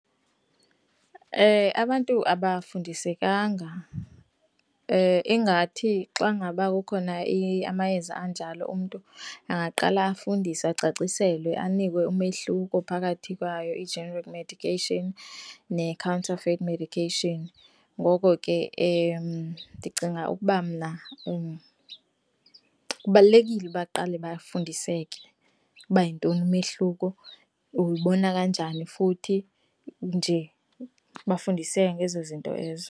Abantu abafundisekanga ingathi xa ngaba kukhona amayeza anjalo umntu angaqala afundiswe, acaciselwe, anikwe umehluko phakathi kwayo i-generic medication ne-counterfit medication. Ngoko ke, ndicinga ukuba mna kubalulekile uba baqale bafundiseke uba yintoni umehluko uyibona kanjani futhi nje bafundiseke ngezo zinto ezo.